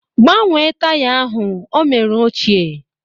Gbanwe taya ahụ, ọ mera ochie!